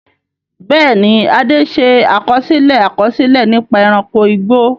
Bẹ́ẹ̀ni, Ade ṣe àkọsílẹ̀ àkọsílẹ̀ nípa ẹranko igbó.